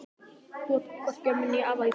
Þú átt því hvorki ömmu né afa í föðurætt.